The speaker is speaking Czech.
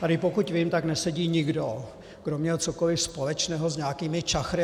Tady, pokud vím, tak nesedí nikdo, kdo měl cokoliv společného s nějakými čachry.